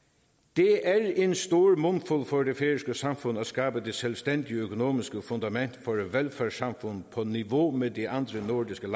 det er en stor mundfuld for det færøske samfund at skabe det selvstændige økonomiske fundament for et velfærdssamfund på niveau med de andre nordiske